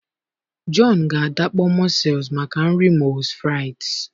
John ga adakpọ mussels maka nri moules frites